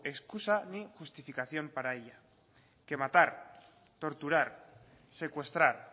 escusa ni justificación para ella que matar torturar secuestrar